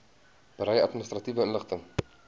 berei administratiewe inligting